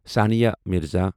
Sania Mirza